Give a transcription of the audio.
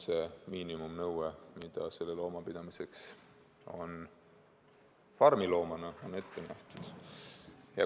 See on miinimumnõue, mida selle looma pidamiseks farmiloomana on ette nähtud.